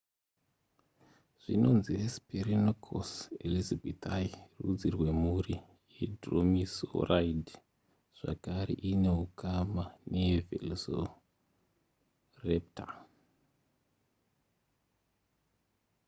zvinonzi hesperonychus elizabethae rudzi rwemhuri yedromaeosauride zvakare iine ukama nevelociraptor